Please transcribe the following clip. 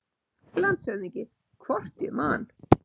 LANDSHÖFÐINGI: Hvort ég man!